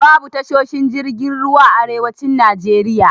Babu tashoshin jirgin ruwa a arewacin Najeriya.